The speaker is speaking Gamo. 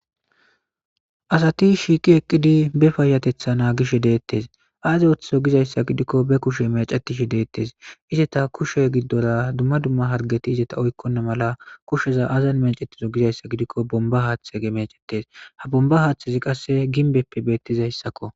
asati shiiqi eqqidi be payatetha naagish deettes aaze oththizo gizayssa gidikko be kushe mecetishi deettes izeta kushe giddora dumma dumma hargeti izeta oykkonna mala kusheza azan mecettizo gizayssa gidikko bomba haaththege mecettes ha bomba haaththezi qasse ginbeppe beettizayssakko